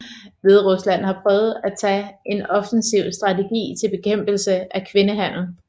Hviderusland har prøvet at taget en offensiv strategi til bekæmpelse af kvindehandel